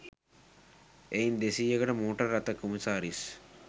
එයින් දෙසීයකට මෝටර් රථ කොමසාරිස්